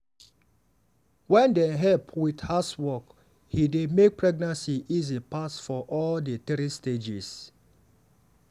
wen dem help with housework e dey make pregnancy easy pass for all di three stages.